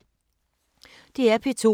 DR P2